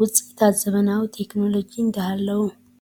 ውፅኢታት ዘመናዊ ቴክኖሎጂ እንዳሉው...